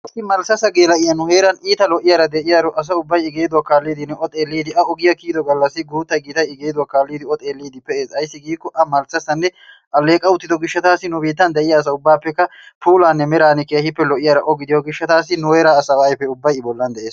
Issi malssassa geela'iya nu heeran de'iyara, asay ubbay I geeduwa kiyidi O kaalliidinne O xeelliiddi, A ogiya kiyido gallassi O xeelliiddi pe'ees. Ayssi giikko A malssassanne alleeqa uttido gishshataassi nu biittan diya asa ubbaappekka puulaninne. meran lo'iyara O gidiyo gishshataassi nu heeraa asaa ubbaa ayfee I bollan de'ees.